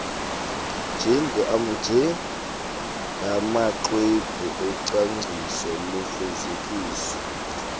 njengamaxwebhu ocwangciso lufezekiso